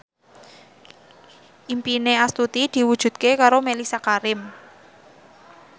impine Astuti diwujudke karo Mellisa Karim